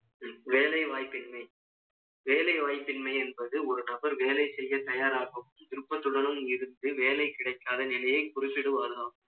வேலை வாய்ப்பின்மை, வேலை வாய்ப்பின்மை என்பது, ஒரு நபர் வேலை செய்யத் தயாராகும். விருப்பத்துடனும் இருந்து, வேலை கிடைக்காத நிலையை, குறிப்பிடுவாராம்